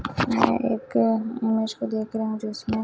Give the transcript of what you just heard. मैं एक इमेज को देख रही हूं जिसमें--